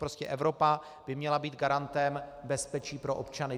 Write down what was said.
Prostě Evropa by měla být garantem bezpečí pro občany.